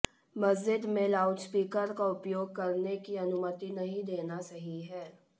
मस्जिद में लाउडस्पीकर का उपयोग करने की अनुमति नहीं देना सही है